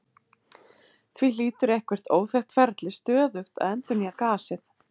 Því hlýtur eitthvert óþekkt ferli stöðugt að endurnýja gasið.